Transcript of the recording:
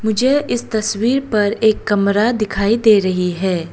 मुझे इस तस्वीर पर एक कमरा दिखाई दे रही है।